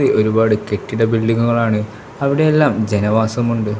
ഒരുപാട് കെട്ടിട ബിൽഡിംഗുകളാണ് അവിടെയെല്ലാം ജനവാസമുണ്ട്.